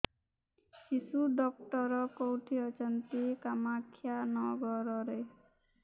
ଶିଶୁ ଡକ୍ଟର କୋଉଠି ଅଛନ୍ତି କାମାକ୍ଷାନଗରରେ